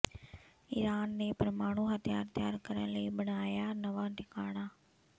Iran ਨੇ ਪਰਮਾਣੂ ਹਥਿਆਰ ਤਿਆਰ ਕਰਨ ਲਈ ਬਣਾਇਆ ਨਵਾਂ ਟਿਕਾਣਾ